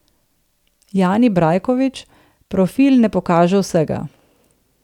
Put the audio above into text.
Jani Brajkovič: "Profil ne pokaže vsega.